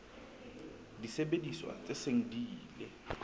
disebediswa tse seng di ile